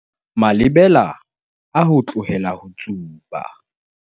Malebela a ho tlohela ho tsuba